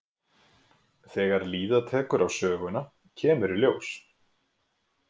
Þegar líða tekur á söguna kemur í ljós.